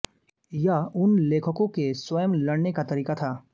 यह उन लेखकों के स्वयं लड़ने का तरीका था